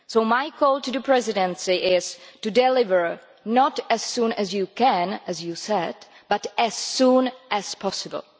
My call to the Presidency is to deliver not as soon as you can, as you said, but as soon as possible.